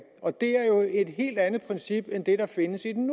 og det er jo et helt andet princip end det der findes i den